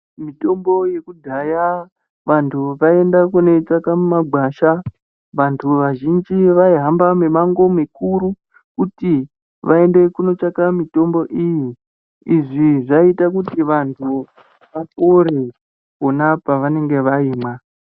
Mitombo yekudhaya vanthu vaienda kundoitsvaka mumagwasha vanthu vazhinji vaihamba mimango mikuru kuti vaende kundotsvaka mitombo iyi izvi zvaiita kuti vanthu vapore pona pavanenge vahina.